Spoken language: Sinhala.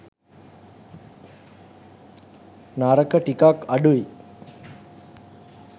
නරක ටිකක් අඩුයි.